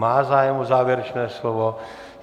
Má zájem o závěrečné slovo.